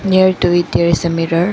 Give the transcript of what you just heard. Near to it there is a mirror.